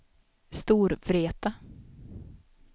Storvreta